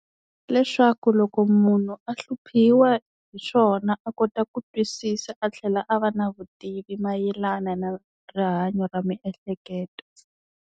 Leswaku loko munhu a hluphiwa hi swona a kota ku twisisa a tlhela a va na vutivi mayelana na rihanyo ra miehleketo.